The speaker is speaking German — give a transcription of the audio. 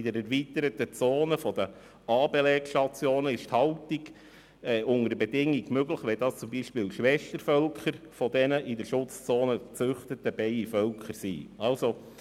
In den erweiterten Zonen um die Belegstationen ist die Haltung unter Bedingungen möglich, wenn es sich zum Beispiel um Schwächevölker der in der Schutzzone gezüchteten Bienenvölkern handelt.